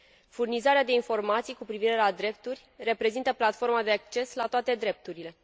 Furnizarea de informații cu privire la drepturi reprezintă platforma de acces la toate drepturile.